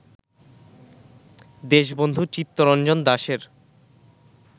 দেশবন্ধু চিত্তরঞ্জন দাসের